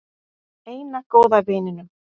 Eina góða vininum.